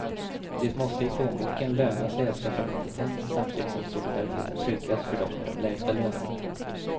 Det måste i plånboken löna sig att skaffa kompetens, samtidigt som solidariteten tryggas för dem med de lägsta lönerna.